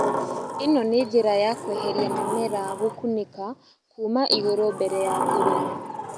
ĩno nĩ njĩra ya kweheria mĩmera gũkunĩka kuuma igũrũ mbere ya kũrĩma